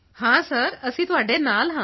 ਹਾਂ ਸਰ ਅਸੀਂ ਤੁਹਾਡੇ ਨਾਲ ਹਾਂ